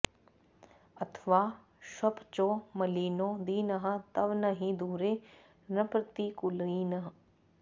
अथवा श्वपचो मलिनो दीनः तव न हि दूरे नृपतिकुलीनः